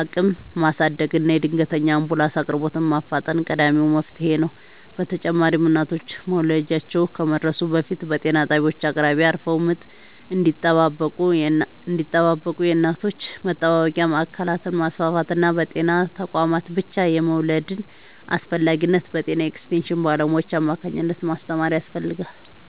አቅም ማሳደግና የድንገተኛ አምቡላንስ አቅርቦትን ማፋጠን ቀዳሚው መፍትሔ ነው። በተጨማሪም እናቶች መውለጃቸው ከመድረሱ በፊት በጤና ጣቢያዎች አቅራቢያ አርፈው ምጥ እንዲጠባበቁ የእናቶች መጠባበቂያ ማዕከላትን ማስፋፋትና በጤና ተቋማት ብቻ የመውለድን አስፈላጊነት በጤና ኤክስቴንሽን ባለሙያዎች አማካኝነት ማስተማር ያስፈልጋል።